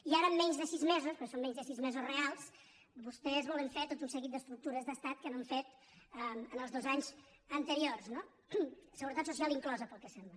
i ara en menys de sis mesos que són menys de sis mesos reals vostès volen fer tot un seguit d’estructures d’estat que no han fet en els dos anys an·teriors no la seguretat social inclosa pel que sembla